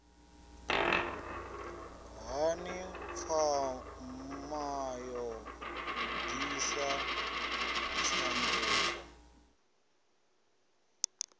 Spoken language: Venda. hani pfma yo ḓisa tshanduko